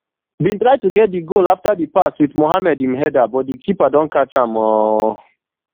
bin try to get quick goal afta di pass wit mohammed im header but di keeper don catch am um